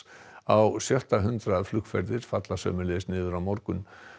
á sjötta hundrað flugferðir falla sömuleiðis niður á morgun